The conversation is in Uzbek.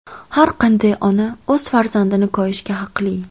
Har qanday ona o‘z farzandini koyishga haqli.